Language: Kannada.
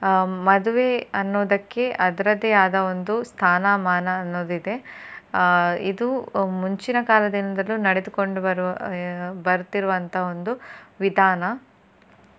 ಆ ಮದುವೆ ಅನ್ನೋದಕ್ಕೆ ಅದರದೇ ಆದ ಒಂದು ಸ್ಥಾನ ಮಾನ ಅನ್ನೋದ್ ಇದೆ. ಆ ಇದು ಮುಂಚಿನ ಕಾಲದಿಂದಲೂ ನಡೆದುಕೊಂಡು ಬರುವ ಬರುತಿರುವಂತ ಒಂದು ವಿಧಾನ.